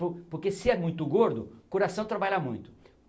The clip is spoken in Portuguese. Po porque se é muito gordo, o coração trabalha muito.